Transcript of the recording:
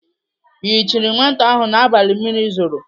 Ị yichiri nwata ahụ n'abalị mmiri zoro?